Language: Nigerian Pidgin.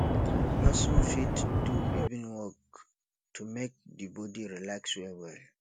person fit do evening walk to make di body relax well well